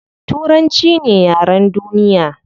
Turanchi ne yaren duniya